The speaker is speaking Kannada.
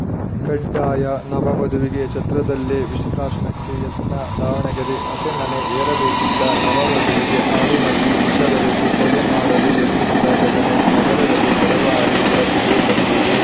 ಕಡ್ಡಾಯ ನವ ವಧುವಿಗೆ ಛತ್ರದಲ್ಲೇ ವಿಷಪ್ರಾಶನಕ್ಕೆ ಯತ್ನ ದಾವಣಗೆರೆ ಹಸೆ ಮಣೆ ಏರಬೇಕಿದ್ದ ನವ ವಧುವಿಗೆ ಹಾಲಿನಲ್ಲಿ ವಿಷ ಬೆರೆಸಿ ಕೊಲೆ ಮಾಡಲು ಯತ್ನಿಸಿದ ಘಟನೆ ನಗರದಲ್ಲಿ ತಡವಾಗಿ ಬೆಳಕಿಗೆ ಬಂದಿದೆ